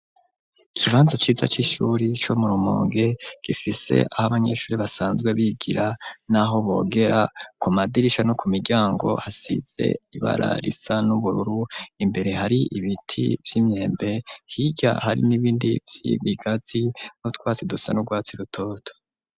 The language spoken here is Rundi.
Ikibanza ciza c'ishuri co mu rumonge gifise aho abanyeshuri basanzwe bigira n'aho bogera ku madirisha no ku miryango hasize ibara risa n'ubururu imbere hari ibiti vy'imyembe hirya hari n'ibindi vy'ibigazi nutwatsi dusa n'urwatsi rutoto.